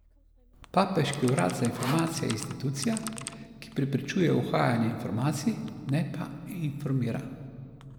Papeški urad za informacije je institucija, ki preprečuje uhajanje informacij, ne pa informira.